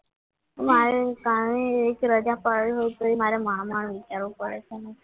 મારે કાલની એક રજા પાડી દઉં તોય મારે માંડ માંડ વિચારવું પડે છે